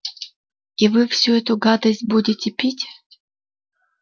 и вы всю эту гадость будете пить